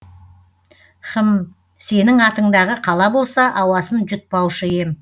хм сенің атыңдағы қала болса ауасын жұтпаушы ем